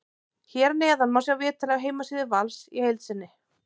Hér að neðan má sjá viðtalið af heimasíðu Vals í heild sinni.